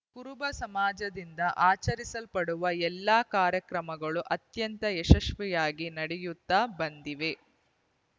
ಕುರುಬ ಸಮಾಜದಿಂದ ಆಚರಿಸಲ್ಪಡುವ ಎಲ್ಲ ಕಾರ್ಯಕ್ರಮಗಳು ಅತ್ಯಂತ ಯಶಸ್ವಿಯಾಗಿ ನಡೆಯುತ್ತಾ ಬಂದಿವೆ